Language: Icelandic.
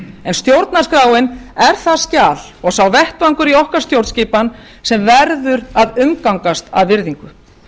en stjórnarskráin er það skjal og sá vettvangur í okkar stjórnskipan sem verður að umgangast af virðingu